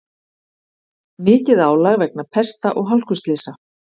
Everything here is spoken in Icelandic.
Mikið álag vegna pesta og hálkuslysa